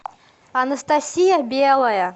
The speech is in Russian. анастасия белая